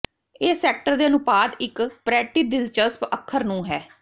ਇਹ ਸੈਕਟਰ ਦੇ ਅਨੁਪਾਤ ਇੱਕ ਪਰੈਟੀ ਦਿਲਚਸਪ ਅੱਖਰ ਨੂੰ ਹੈ